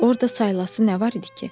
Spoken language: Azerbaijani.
Orda sayalası nə var idi ki?